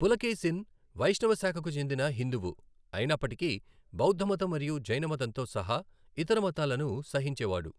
పులకేశిన్ వైష్ణవ శాఖకు చెందిన హిందువు అయినప్పటికీ బౌద్ధమతం మరియు జైనమతంతో సహా ఇతర మతాలను సహించేవాడు.